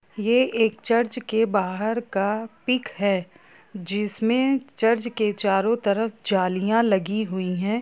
ये एक चर्च के बाहर की पिक है जिस में चर्च के चारों तरफ जालियां लगी हुई है।